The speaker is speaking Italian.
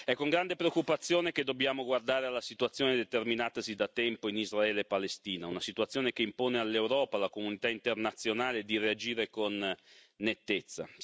È con grande preoccupazione che dobbiamo guardare alla situazione determinatasi da tempo in Israele e Palestina, una situazione che impone all'Europa e alla comunità internazionale di reagire con nettezza.